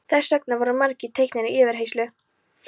Þess vegna voru margir teknir í yfirheyrslu.